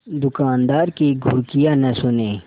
दुकानदार की घुड़कियाँ न सुने